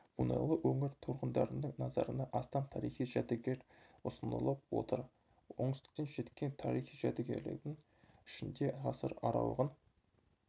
мұнайлы өңір тұрғындарының назарына астам тарихи жәдігер ұсынылып отыр оңтүстіктен жеткен тарихи жәдігерлердің ішінде ғасыр аралығын